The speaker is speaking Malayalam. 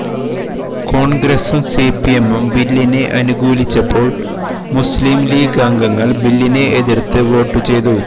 കോണ്ഗ്രസും സിപിഎമ്മും ബില്ലിനെ അനുകൂലിച്ചപ്പോൾ മുസ്ലിം ലീഗ് അംഗങ്ങൾ ബില്ലിനെ എതിർത്ത് വോട്ട് ചെയ്തു